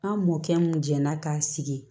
An mɔkɛ mun jɛnna k'a sigi